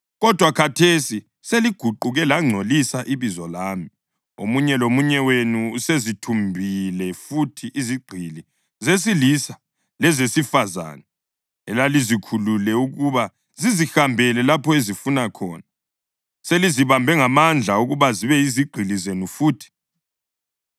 Kodwa khathesi seliguquke langcolisa ibizo lami; omunye lomunye wenu usezithumbile futhi izigqili zesilisa lezesifazane elalizikhulule ukuba zizihambele lapho ezifuna khona. Selizibambe ngamandla ukuba zibe yizigqili zenu futhi.